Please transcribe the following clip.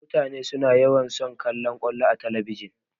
Mutane suna yawan son kallan ƙwallo a talabijin.